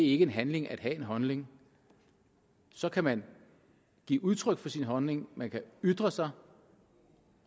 ikke en handling at have en holdning så kan man give udtryk for sin holdning man kan ytre sig